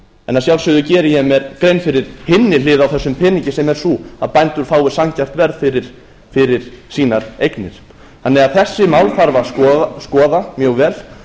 en að sjálfsögðu geri ég mér grein fyrir hinni hliðinni á þessum peningi sem er sú að bændur fái sanngjarnt verð fyrir sínar eignir þessi mál þarf að skoða mjög vel